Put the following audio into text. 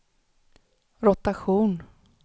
rotation